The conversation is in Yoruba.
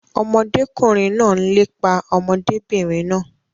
Ọmọdékùnrin náà n lépa ọmọdébìnrin náà.